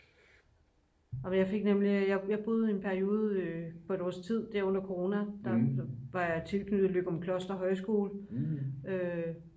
jeg fik nemlig jeg boede i en periode på et års tid under corona der var jeg tilsluttet løgumkloster højskole